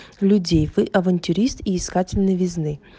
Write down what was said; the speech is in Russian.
людей вы авантюрист и искательный новизны